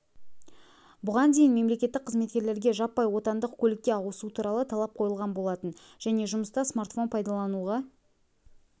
бұған дейін мемлекеттік қызметкерлерге жаппай отандық көлікке ауысу туралы талап қойылған болатын және жұмыста смартфон пайдалануға